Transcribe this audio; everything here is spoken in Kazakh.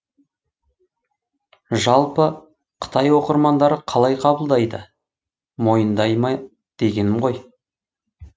жалпы қытай оқырмандары қалай қабылдайды мойындай ма дегенім ғой